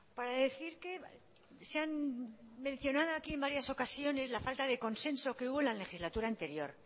para decir que se han mencionado aquí en varias ocasiones la falta de consenso que hubo en la legislatura anterior